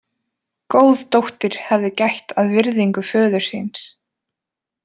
Góð dóttir hefði gætt að virðingu föður síns.